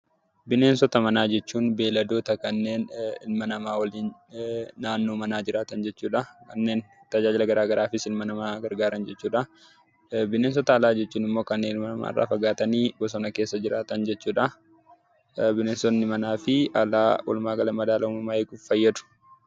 Bineensota manaa jechuun beelladoota kanneen ilma namaa waliin naannoo manaa jiraatan jechuu dha. Kanneen tajaajila gara garaafis ilma namaa gargaaran jechuu dha. Bineensota alaa jechuun immoo kanneen ilma namaa irraa fagaatanii bosona keessa jiraatan jechuu dha. Bineensonni manaa fi alaa walumaa gala madaalaa uumamaa eeguuf fayyadu.